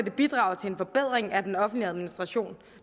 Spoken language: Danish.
bidrager til en forbedring af den offentlige administration